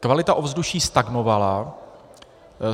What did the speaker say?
Kvalita ovzduší stagnovala.